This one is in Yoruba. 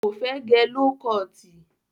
Kò fẹ́ gẹ ló kọọ̀tì.